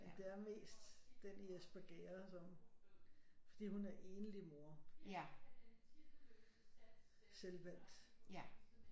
Det er mest den i Espergærde som fordi hun er enlig mor selvvalgt